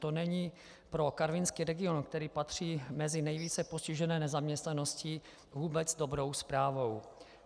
To není pro karvinský region, který patří mezi nejvíce postižené nezaměstnaností, vůbec dobrou zprávou.